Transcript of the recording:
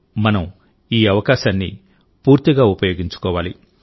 మనం ఈ అవకాశాన్ని పూర్తిగా ఉపయోగించుకోవాలి